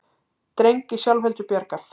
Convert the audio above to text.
Dreng í sjálfheldu bjargað